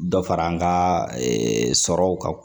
Dɔ fara an ka sɔrɔw kan